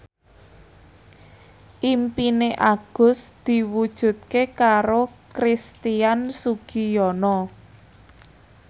impine Agus diwujudke karo Christian Sugiono